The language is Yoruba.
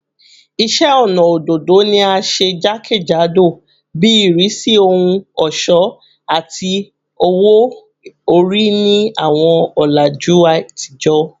Iṣẹ ọnà ododo ni a ṣe jakejado bi irisi ohun ọṣọ ati owo-ori ni awọn ọlaju atijọ